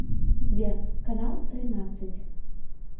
сбер канал тринадцать